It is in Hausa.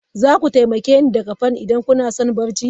Za ku taimake ni daga Fan idan kuna son barci?